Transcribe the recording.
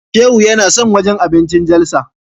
Shehu yana son wajen abincin Jalsa.